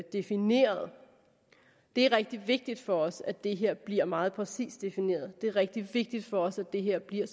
defineret det er rigtig vigtigt for os at det her bliver meget præcist defineret det er rigtig vigtigt for os at det her bliver